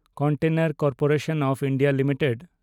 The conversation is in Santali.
container corporation of India limited